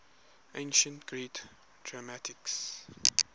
ancient greek dramatists